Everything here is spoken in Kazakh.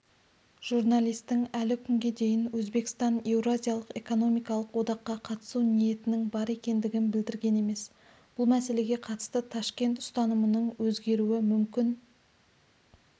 журналистің әлі күнге дейін өзбекстан еуразиялық экономикалық одаққа қатысу ниетінің бар екендігін білдірген емес бұл мәселеге қатысты ташкент ұстанымының өзгеруі мүмкін